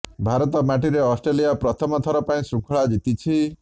ଭାରତ ମାଟିରେ ଅଷ୍ଟ୍ରେଲିଆ ପ୍ରଥମ ଥର ପାଇଁ ଶୃଙ୍ଖଳା ଜିତିଛି